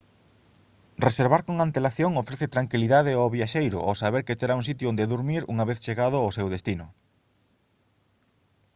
reservar con antelación ofrece tranquilidade ao viaxeiro ao saber que terá un sitio onde durmir unha vez chegado ao seu destino